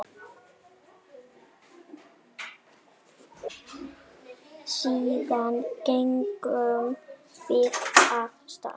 Síðan gengum við af stað.